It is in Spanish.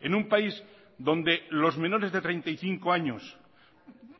en un país donde los menores de treinta y cinco años